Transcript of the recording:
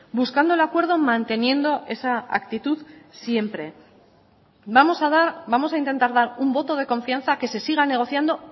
buscando el acuerdo manteniendo esa actitud siempre vamos a intentar dar un voto de confianza a que se siga negociando